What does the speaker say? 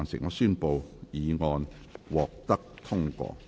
我宣布議案獲得通過。